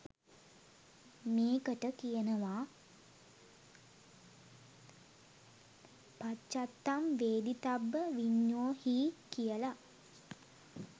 මේකට කියනවා පච්චත්තං වේදිතබ්බ විඤ්ඤූහි කියල.